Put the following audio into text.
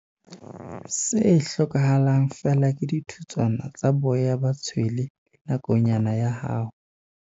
Se hlokahalang feela ke dithutswana tsa boya ba tshwele le nakonyana ya hao.